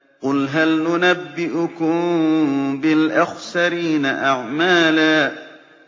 قُلْ هَلْ نُنَبِّئُكُم بِالْأَخْسَرِينَ أَعْمَالًا